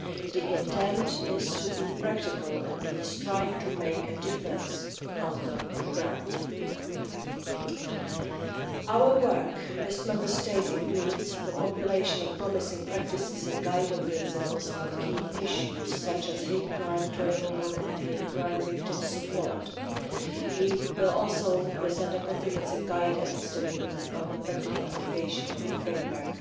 The intent is to be practical, and we are striving to make a difference on the ground. Our work with Member States includes the compilation of promising practices and guiding principles on key issues such as hate crime training and hate crime victim support. We will also present a comprehensive guidance document on the practical application of the Framework